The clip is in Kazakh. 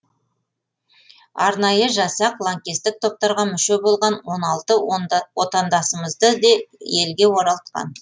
арнайы жасақ лаңкестік топтарға мүше болған он алты отандасымызды да елге оралтқан